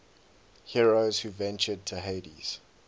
heroes who ventured to hades